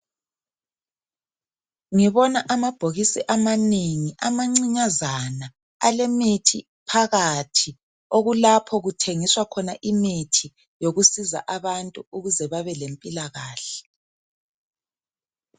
Ngibona amabhokisi amanengi amancinyazana alemithi phakathi okulapho kuthengiswa khona imithi yokusiza abantu ukuze babe lempilakahle